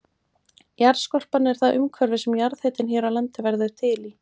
Jarðskorpan er það umhverfi sem jarðhitinn hér á landi verður til í.